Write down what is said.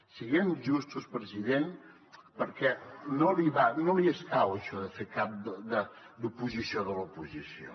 siguem justos president perquè no li va no li escau això de fer d’oposició de l’oposició